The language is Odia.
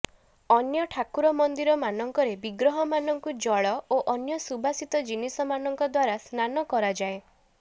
ଅନ୍ୟ ଠାକୁର ମନ୍ଦିର ମାନଙ୍କରେ ବିଗ୍ରହମାନଙ୍କୁ ଜଳ ଓ ଅନ୍ୟ ସୁବାସିତ ଜିନିଷ ମାନଙ୍କ ଦ୍ୱାରା ସ୍ନାନ କରାଯାଏ